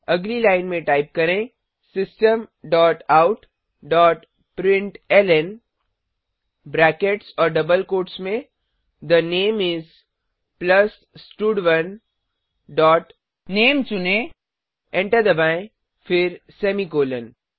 अगली लाइन में टाइप करें system dot out dot println brackets और डबल कोट्स में थे नामे इस प्लस स्टड1 डॉट नामे चुनें एंटर दबाएँ फिर सेमीकॉलन